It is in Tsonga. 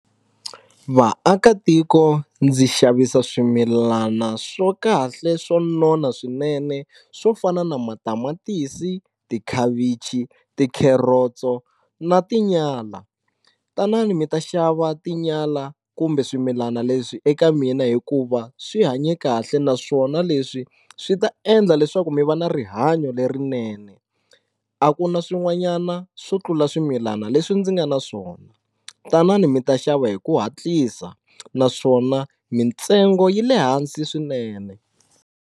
Vaakatiko ndzi xavisa swimilana swo kahle swo nona swinene swo fana na matamatisi tikhavichi ti carrots-o na tinyala tanani mi ta xava tinyala kumbe swimilana leswi eka mina hikuva swi hanye kahle naswona leswi swi ta endla leswaku mi va na rihanyo lerinene a ku na swin'wanyana swo tlula swimilana leswi ndzi nga na swona tanani mi ta xava hi ku hatlisa naswona mintsengo yi le hansi swinene.